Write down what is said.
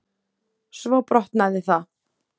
Svo brotnaði það.